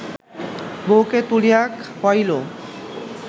বৌকে তুলিয়া খাইয়াইল